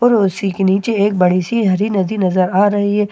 और उर्सी की नीचे एक बड़ी सी हरी नदी नजर आ रही हैं और एक पेड़ा --